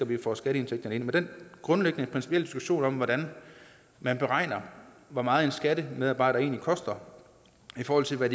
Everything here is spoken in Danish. vi får skatteindtægterne ind men den grundlæggende principielle diskussion om hvordan man beregner hvor meget en skattemedarbejder egentlig koster i forhold til hvad